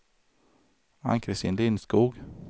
Ann-Christin Lindskog